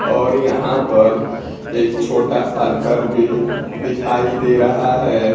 और यहां पर एक छोटा सा घर भी दिखाई दे रहा है।